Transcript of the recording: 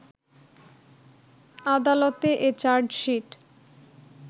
আদালতে এ চার্জশিট